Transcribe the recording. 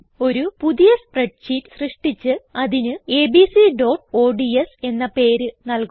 ഒരു പുതിയ spread sheet സൃഷ്ടിച്ച് അതിന് abcഓഡ്സ് എന്ന പേര് നല്കുക